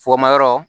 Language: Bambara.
Fonma yɔrɔ